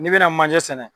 N'i bɛna manje sɛnɛ